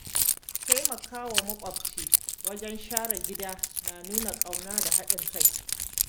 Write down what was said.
Taimakawa makwabci wajen share gida na nuna ƙauna da haɗin kai.